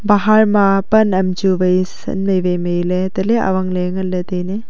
pahar ma pan am chu wai san mai wai mai le tale awangle ngan le taile.